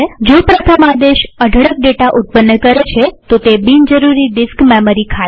જો પ્રથમ આદેશ અઢળક ડેટા ઉત્પન્ન કરે છેતો તે બિન જરૂરી ડિસ્ક મેમરી ખાય છે